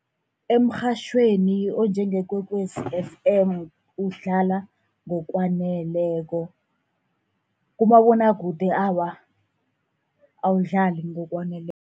Emrhatjhweni onjengeKwekwezi F_M udlala ngokwaneleko. Kumabonwakude awa, awudlali ngokwaneleko.